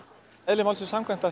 eðli málsins samkvæmt